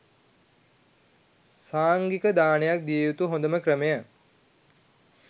සංඝීක දානයක් දිය යුතු හොඳම ක්‍රමය